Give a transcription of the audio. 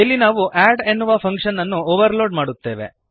ಇಲ್ಲಿ ನಾವು ಅಡ್ ಎನ್ನುವ ಫಂಕ್ಶನ್ ಅನ್ನು ಓವರ್ಲೋಡ್ ಮಾಡುತ್ತೇವೆ